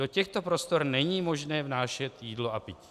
Do těchto prostor není možné vnášet jídlo a pití.